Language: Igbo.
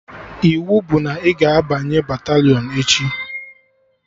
Iwu bụ na ị ga-abanye batalịọn echi!